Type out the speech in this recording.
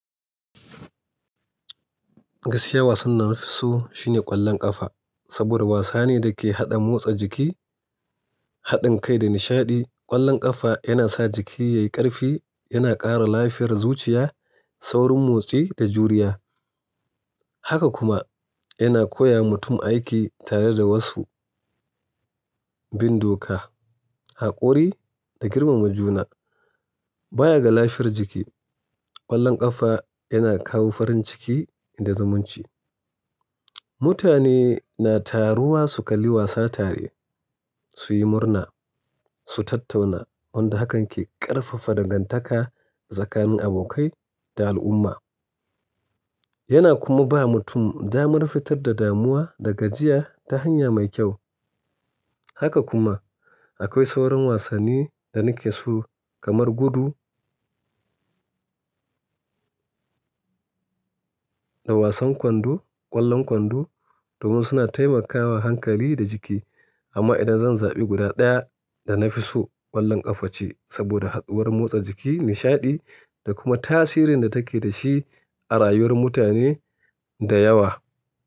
Gaskiya wasan dana fi so shine ƙwallon ƙafa saboda wasa ne da ke haɗa motsa jiki, haɗin kai da nishaɗi. Ƙwallon ƙafa yana sa jiki yayi ƙarfi, yana ƙara lafiyar zuciya, saurin motsi da juriya. Haka kuma yana koyawa mutum aiki tare da wasu, bin doka, haƙuri da girmama juna. Bayan ga lafiyar jiki, ƙwallon ƙafa yana kawo farin ciki da zumunci. Mutane na taruwa su kalli wasa tare, su yi murna, su tattauna wanda hakan ke ƙarfafa dangantaka tsakanin abokai da al'umma. Yana kuma ba mutum damar fitar da damuwa da gajiya ta hanya mai kyau. Haka kuma akwai sauran wasanni da nake so kamar gudu da wasan kwando, ƙwallon kwando domin suna taimakawa hankali da jiki. Amma idan zan zaɓi guda ɗaya da na fi so ƙwallon ƙafa ce saboda haɗuwar motsa jiki, nishaɗi da kuma tasirin da take da shi a rayuwar mutane da yawa.